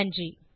நன்றி